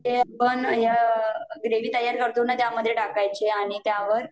ते आपण ह्या ग्रेवी तयार करतो न त्यामध्ये टाकायचे आणि त्यावर